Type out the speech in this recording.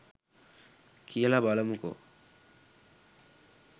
කියලා බලමුකෝ